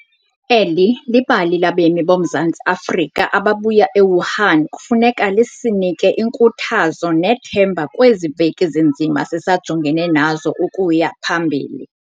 Eli bali labemi boMzantsi Afrika ababuya e-Wuhan kufuneka lisinike inkuthazo nethemba kwezi veki zinzima sisajongene nazo ukuya phambili.